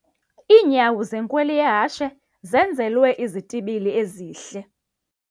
Iinyawo zenkweli yehashe zenzelwe izitibili ezihle.